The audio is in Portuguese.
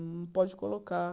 Não pode colocar...